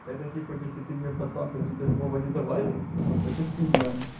это типа если ты не пацан то тебе слова не давали это сильно ань